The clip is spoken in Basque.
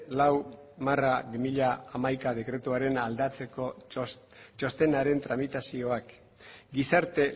lau barra bi mila hamaika dekretuarena aldatzeko txostenaren tramitazioak gizarte